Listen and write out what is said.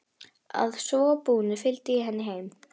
Að svo búnu fylgdi ég henni heim.